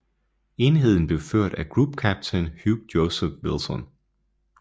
Enheden blev ført af Group Captain Hugh Joseph Wilson